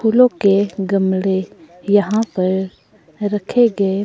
फूलों के गमले यहां पर रखे गए --